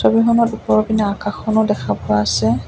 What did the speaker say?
ছবিখনৰ ওপৰপিনে আকাশখনো দেখা পোৱা আছে।